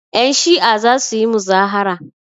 Yanshi'a za su yi muzahara.